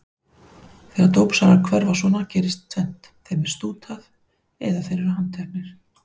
Þegar dópsalar hverfa svona gerist tvennt: Þeim er stútað eða þeir eru handteknir.